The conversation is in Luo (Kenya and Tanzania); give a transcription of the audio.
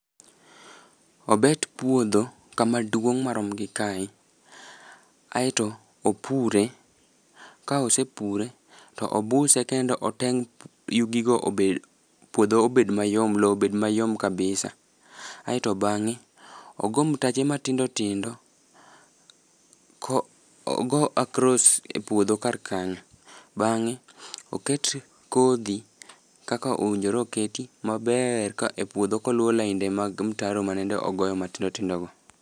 Obet puodho, kama duong' marom gi kae. Aeto opure. Ka osepure, to obuse kendo oteng' yugigo obed, puodho obed mayom, lowo obed mayom kabisa. Aeto bangé ogo mtaje matindo tindo, ogo across e puodho kar kanyo. Bangé oket kodhi, kaka owinjore oketi maber, ka e puodho ka oluwo lainde mag mtaro manende ogoyo matindo tindo go.